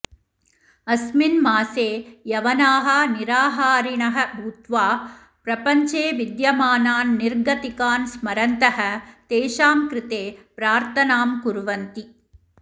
अस्मिन् मासे यवनाः निराहारिणः भूत्वा प्रपञ्चे विद्यमानान् निर्गतिकान् स्मरन्तः तेषां कृते प्रार्थनां कुर्वन्ति